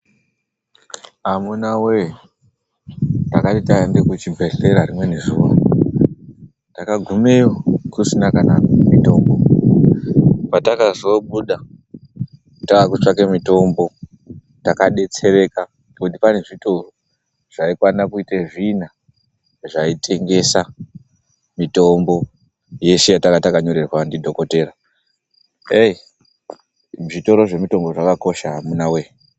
Amuna we takati taenda kuchibhedhlera rimweni zuwa takagumeyo kusina kana mitombo patakazobuda takutsvake mitombo takadetsereka ngekuti panezvitoro zvaikwane kuite zvina zvaitengesa mitombo yeshe yatanga tanyorerwa ndidhokoteya zvitoro zvemitombo zvakakosha amunawe.